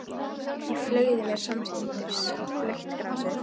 Ég fleygði mér samstundis í blautt grasið.